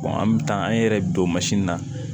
an bɛ taa an ye yɛrɛ don mansin na